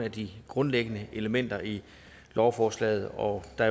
af de grundlæggende elementer i lovforslaget og der